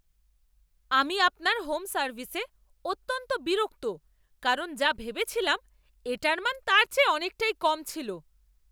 আমি আপনার হোম সার্ভিসে অত্যন্ত বিরক্ত কারণ যা ভেবেছিলাম এটার মান তার চেয়ে অনেকটাই কম ছিল।